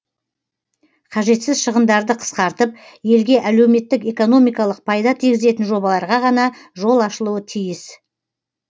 қажетсіз шығындарды қысқартып елге әлеуметтік экономикалық пайда тигізетін жобаларға ғана жол ашылуы тиіс